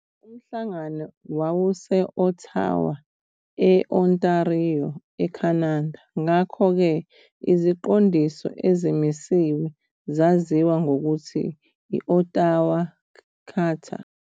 Umhlangano wawuse-Ottawa, e-Ontario, eCanada, ngakho-ke iziqondiso ezimisiwe zaziwa ngokuthi I-Ottawa Charter.